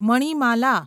Manimala